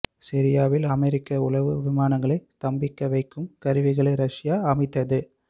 சிரியாவில் அமெரிக்க உளவு விமானங்களை ஸ்தம்பிக்க வைக்கும் கருவிகளை ரஷியா அமைத்தது